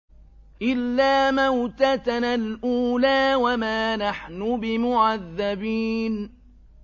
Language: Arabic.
إِلَّا مَوْتَتَنَا الْأُولَىٰ وَمَا نَحْنُ بِمُعَذَّبِينَ